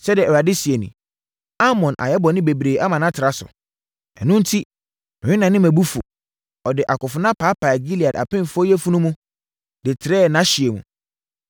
Sɛdeɛ Awurade seɛ nie: “Amon ayɛ bɔne bebree ama no atra so, ɛno enti, merennane mʼabufuo. Ɔde akofena paepaee Gilead apemfoɔ yafunu mu de trɛɛ nʼahyeɛ mu.